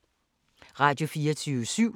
Radio24syv